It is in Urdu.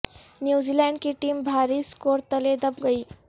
نیوزی لینڈ کی ٹیم بھاری سکور تلے دب گئی